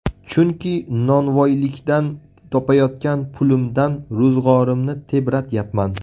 Chunki novvoylikdan topayotgan pulimdan ro‘zg‘orimni tebratyapman.